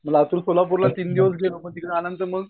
लातूर सोलापूरला तीन दिवस गेलो पण तिकड आल्यानंतर मंग